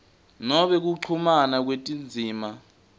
noma kuchumana kwetindzima